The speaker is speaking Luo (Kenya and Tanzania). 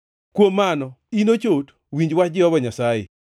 “ ‘Kuom mano, in ochot, winj wach Jehova Nyasaye!